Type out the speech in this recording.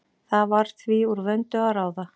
Það var því úr vöndu að ráða.